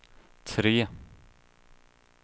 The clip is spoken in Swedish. tre